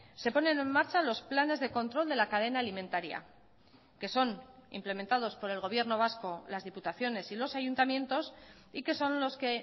se ponen en marcha los planes de control de la cadena alimentaria que son implementados por el gobierno vasco las diputaciones y los ayuntamientos y que son los que